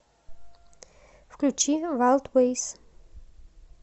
включи вайлдвэйс